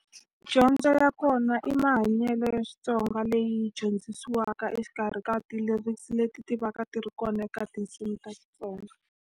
Dyondzo ya kona i mahanyelo ya Xitsonga leyi dyondzisiwaka exikarhi ka ti-lyrics leti ti va ka ti ri kona eka tinsimu ta Xitsonga.